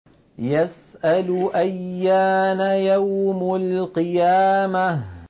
يَسْأَلُ أَيَّانَ يَوْمُ الْقِيَامَةِ